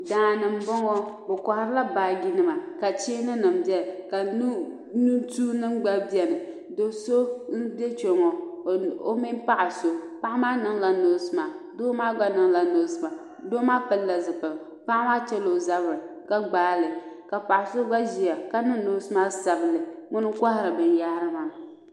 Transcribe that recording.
daani m bɔŋɔ bɛ kɔhirila baajinima ka cheeninima beni ka nutuunima gba beni do' so m-be kpe ŋɔ o mini paɣ' so paɣa maa niŋla nose mask doo maa gba niŋla nose mask doo maa pilila zipiligu paɣa maa chela o zabiri ka gbaai li ka paɣ' so gba ʒia ka niŋ nose mask sabinli ŋuna n-kɔhiri binyɛhiri maa